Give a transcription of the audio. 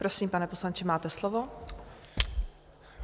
Prosím, pane poslanče, máte slovo.